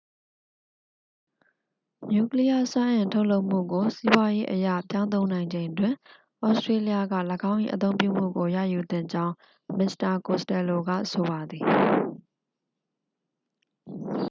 နျူကလီးယား စွမ်းအင် ထုတ်လုပ်မှုကို စီးပွားရေးအရ ပြောင်းသုံးနိုင်ချိန်တွင် သြစတြေးလျက ၎င်း၏ အသုံးပြုမှုကို ရယူသင့်ကြောင်း မစ္စတာ ကိုစတယ်လိုက ဆိုပါသည်